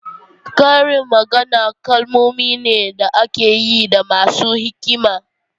Karin magana kalmomi ne da ake yi da masu hikima.